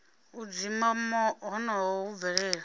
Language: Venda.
u dzima honoho hu bvelela